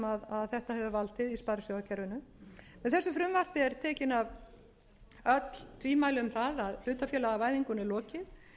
í sparisjóðakerfinu með þessu frumvarpi eru tekin af öll tvímæli um það að hlutafélagavæðingunni er lokið